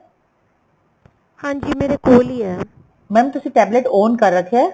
ਹਾਂਜੀ ਮੇਰੇ ਕੋਲ ਈ ਏ mam ਤੁਸੀਂ tablet on ਕਰ ਰੱਖਿਆ